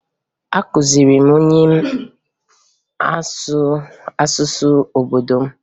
Akụziri m nwunye m asụsụ obodo m